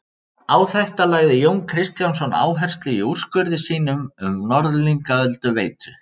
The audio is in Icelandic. Á þetta lagði Jón Kristjánsson áherslu í úrskurði sínum um Norðlingaölduveitu.